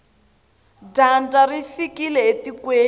dyandza ri fikile etikweni